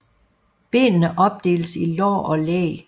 Benene opdeles i lår og læg